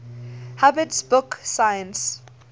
hubbard's book 'science